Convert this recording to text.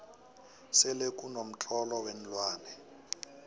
selekuno mtlolo weenlwane